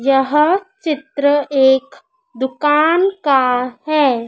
यह चित्र एक दुकान का है।